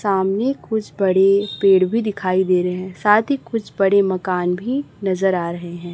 सामने कुछ बड़े पेड़ भी दिखाई दे रहे हैं साथ ही कुछ बड़े मकान भी नजर आ रहे हैं।